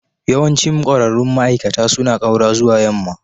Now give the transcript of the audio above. Yawancin ƙwararrun ma'aikata suna ƙaura zuwa yamma.